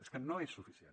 és que no és suficient